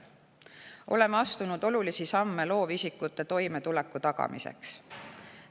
Oleme astunud olulisi samme loovisikute toimetuleku tagamiseks.